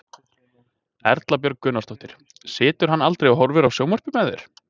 Erla Björg Gunnarsdóttir: Situr hann aldrei og horfir á sjónvarpið með þér?